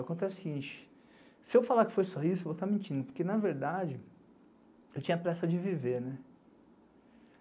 Acontece que se eu falar que foi só isso, eu vou estar mentindo, porque, na verdade, eu tinha pressa de viver, né?